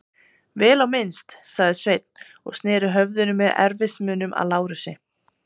Vel á minnst, sagði Sveinn og sneri höfðinu með erfiðismunum að Lárusi.